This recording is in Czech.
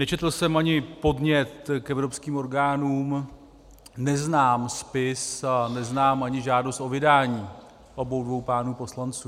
Nečetl jsem ani podnět k evropským orgánům, neznám spis a neznám ani žádost o vydání obou dvou pánů poslanců.